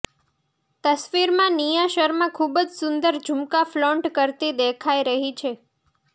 તસવીરમાં નિયા શર્મા ખૂબ જ સુંદર ઝૂમકા ફ્લોન્ટ કરતી દેખાઈ રહી છે